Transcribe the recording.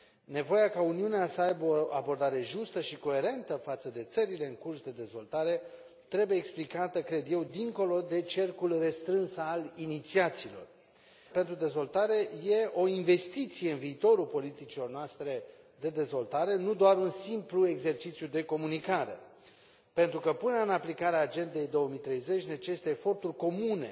Nevoia ca Uniunea să aibă o abordare justă și coerentă față de țările în curs de dezvoltare trebuie explicată, cred eu, dincolo de cercul restrâns al inițiaților. Anul European pentru Dezvoltare este o investiție în viitorul politicilor noastre de dezvoltare, nu doar un simplu exercițiu de comunicare, pentru că punerea în aplicare a Agendei 2030 necesită eforturi comune,